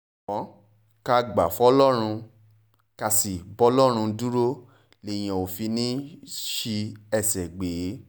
ṣùgbọ́n ká gbà fọlọ́run ká sì bọlọ́run dúró léèyàn ò fi ní í sí ẹsẹ̀ gbé